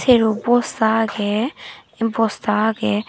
serbo bosta agey bosta agey.